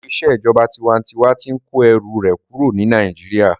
Ètò ìṣèjọba tinwatinwa tí n kó ẹrù rẹ̀ kúrò ní Nàìjíríyà